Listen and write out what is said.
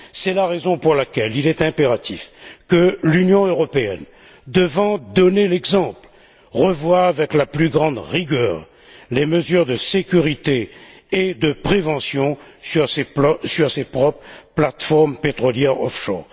C'est la raison pour laquelle il est impératif que l'Union européenne, qui doit donner l'exemple, revoie avec la plus grande rigueur les mesures de sécurité et de prévention sur ses propres plateformes pétrolières off shore.